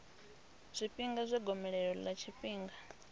zwifhinga zwa gomelelo ḽa tshifhinga